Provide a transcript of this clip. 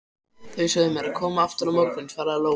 Þau sögðu mér að koma aftur á morgun, svaraði Lóa.